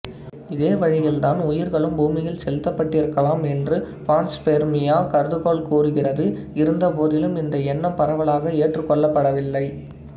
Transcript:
இதே வழியில் தான் உயிர்களும் பூமியில் செலுத்தப்பட்டிருக்கலாம் என்று பான்ஸ்பெர்மியா கருதுகோள் கூறுகிறது இருந்தபோதிலும் இந்த எண்ணம் பரவலாக ஏற்றுக்கொள்ளப்படவில்லை